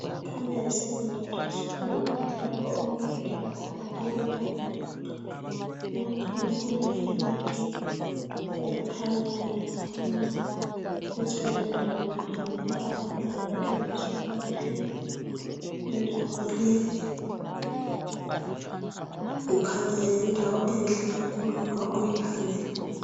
Kukhanya kuyi Secondary School lapha okufundela khona abantwana, kule flagi ekhanyayo laphana njalo kulendawo eyokuhamba esetshenziswa ngabantwana, indawo leyi ikhanya iyindawo enhle nxa uyikhangela